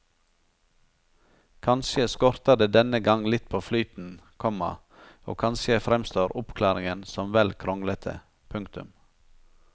Kanskje skorter det denne gang litt på flyten, komma og kanskje fremstår oppklaringen som vel kronglete. punktum